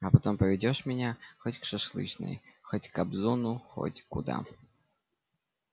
а потом поведёшь меня хоть к шашлычной хоть к кобзону хоть куда